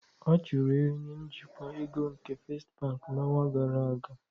A chụrụ onye njikwa ego nke Festị Bank n'ọnwa gara aga.